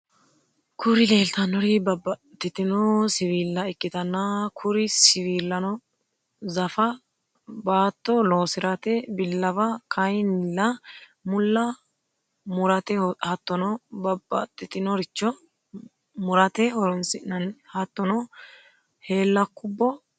Kuri lelitanori babatitino siwilla ikitana kuri siwilano zafa batto loosirate bilawwa kayinila malla murate hatono babatitinorichi muratte horonisinani hatonno helakubo labanoreti.